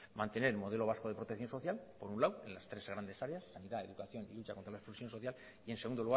mantener el modelo vasco de protección social por un lado en sus tres grandes áreas sanidad educación y lucha contra la exclusión social y en segundo